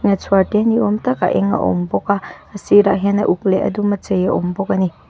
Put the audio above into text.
chhuar te ni awm tak a eng a awm bawk a a sir ah hian a uk leh a dum a chei a awm bawk a ni.